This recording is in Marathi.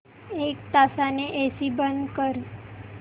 एक तासाने एसी बंद कर